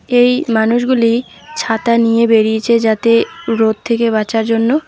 এই মানুষগুলি ছাতা নিয়ে বেরিয়েছে যাতে রোদ থেকে বাঁচার জন্য।